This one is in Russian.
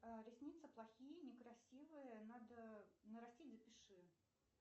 ресницы плохие некрасивые надо нарастить запиши